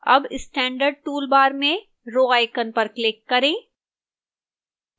अब standard toolbar में row icon पर click करें